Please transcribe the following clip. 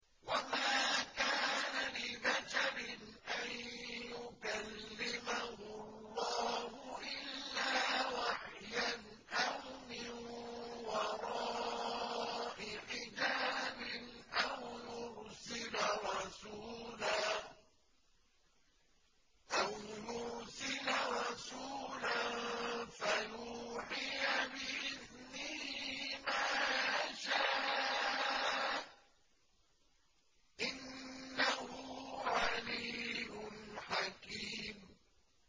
۞ وَمَا كَانَ لِبَشَرٍ أَن يُكَلِّمَهُ اللَّهُ إِلَّا وَحْيًا أَوْ مِن وَرَاءِ حِجَابٍ أَوْ يُرْسِلَ رَسُولًا فَيُوحِيَ بِإِذْنِهِ مَا يَشَاءُ ۚ إِنَّهُ عَلِيٌّ حَكِيمٌ